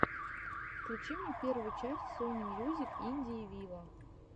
включи мне первую часть сони мьюзик индии виво